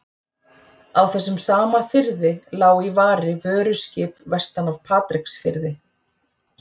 Á þessum sama firði lá í vari vöruskip vestan af Patreksfirði.